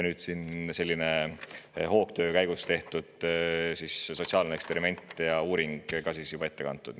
Nüüd siin hoogtöö käigus tehtud sotsiaalne eksperiment ja uuring on ka juba ette kantud.